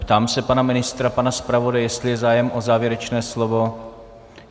Ptám se pana ministra, pana zpravodaje, jestli je zájem o závěrečné slovo.